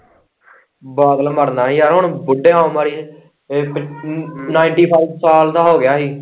ਬਾਦਲ ਮਰਨਾ ਹੀ ਏ ਯਾਰ ਹੁਣ ਬੁੱਢੇ ਹੋ ਮਾੜੇ ਜਿਹੇ ਇਹ ਫੇਰ ninety five ਸਾਲ ਦਾ ਹੋ ਗਿਆ ਹੀ।